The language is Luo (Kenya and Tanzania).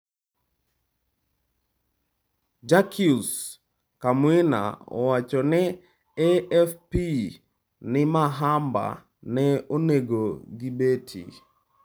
Jacques Kamwina owacho ne AFP ni Mahamba ne onege gi beti.